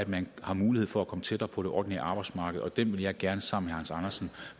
man har mulighed for at komme tættere på det ordinære arbejdsmarked og det vil jeg gerne sammen